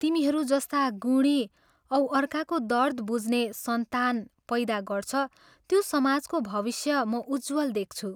तिमीहरू जस्ता गुणी औ अर्काको दर्द बुझ्ने सन्तान पैदा गर्छ, त्यो समाजको भविष्य म उज्जवल देख्छु।